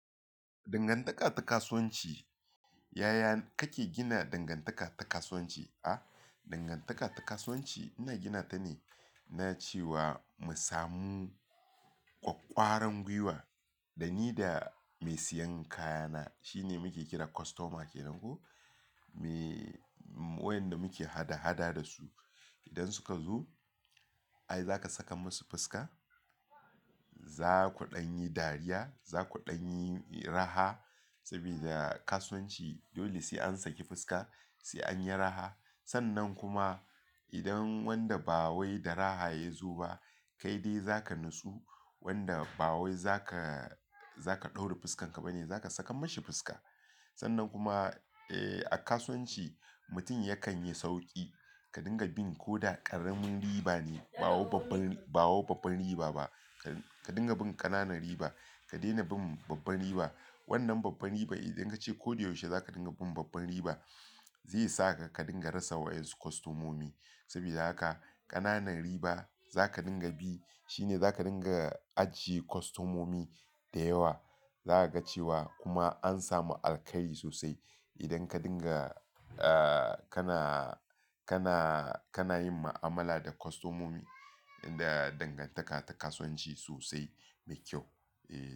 Dangantaka ta kasuwanci, yaya kake gina dangantaka ta kasuwanci? Ah, dangantaka ta kasuwanci ina gina ta ne na cewa mu samu ƙwaƙƙwaran gwiwa dani da mai siyan kayana shine muke kira kostoma kenan ko. Me wayanda muke hada-hada da su idan suka zo, ai zaka sakar musu fuska, za kuɗan yi dariya, za kuɗan yi raha saboda kasuwanci dole sai an saki fuska, sai an yi raha. Sannan kuma idan wanda ba wai da raha ya zo ba kai dai zaka nutsu wanda ba wai zaka, zaka ɗaure fuskan ka bane, zaka sakan mashi fuska. Sannan kuma, eh, a kasuwanci mutum yakan yi sauki ka dinga bin ko da ƙaramin riba ne ba wai babbar, ba wai babbar riba ba. Ka dinga bin ƙananan riba ka daina bin babbar riba. Wannan babbar riba idan ka ce koyaushe za ka dinga bin babbar riba zai saka ka dinga rasa wa'yansu kostomomi saboda haka ƙananan riba za ka dinga bi. Shi ne za ka dinga ajiye kostomomi da yawa. Za ka ga cewa kuma an samu alkhairi sosai idan ka dinga, ah, kana, kana, kana yin ma'amala da kostomomi da dangantaka ta kasuwanci sosai mai kyau. Eh.